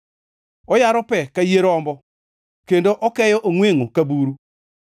Oyaro pe ka yie rombo kendo okeyo ongʼwengʼo ka buru.